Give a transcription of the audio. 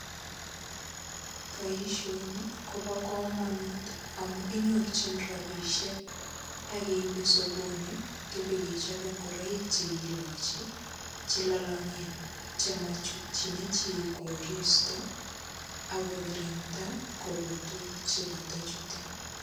Boisoni, kobo komonut amu kinyorchin rabisiek, akeibe sokonik chebo kechape ngoroik che kilachi che lalang'en. Chematuchin chi koristo, akokirinda korotwek chekatachuten.